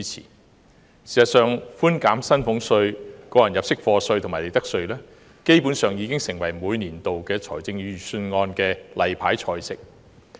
事實上，寬減薪俸稅、個人入息課稅及利得稅基本上已成為每年度預算案的"例牌菜"。